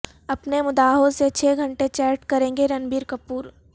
اپنے مداحوں سے چھ گھنٹے چیٹ کریں گے رنبیر کپور